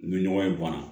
Ni ɲɔgɔn ye bɔnna